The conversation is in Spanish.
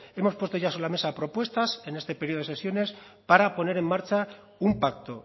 hemos puesto ya sobre la mesa propuestas en este periodo de sesiones para poner en marcha un pacto